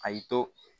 A y'i to